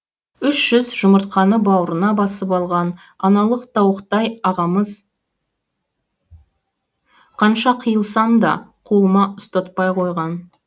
үш жүз жұмыртқаны бауырына басып алған аналық тауықтай ағамыз қанша қиылсам да қолыма ұстатпай қойған